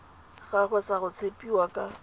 gagwe sa go tshepiwa ka